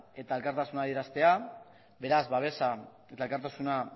eta elkartasun adieraztea beraz babesa eta elkartasuna